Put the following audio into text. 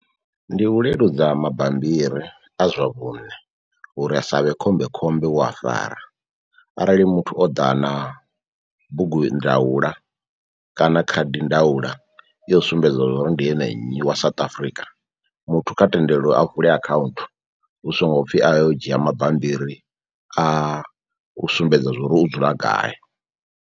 Ndi u leludza mabambiri a zwa vhune uri asavhe khombekhombe u a fara arali muthu o ḓa na bugundaula kana khadindaula yo sumbedza uri ndi ene nnyi wa South Africa muthu kha tendelwe a vule akhaunthu hu songo pfhi a yo u dzhia mabambiri a u sumbedza zwa uri u dzula gai.